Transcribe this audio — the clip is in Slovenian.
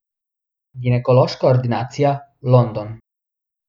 Ginekološka ordinacija, London.